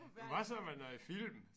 Hvad så med noget film?